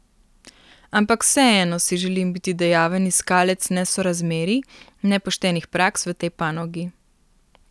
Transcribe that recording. Ampak vseeno si želim biti dejaven iskalec nesorazmerij, nepoštenih praks v tej panogi.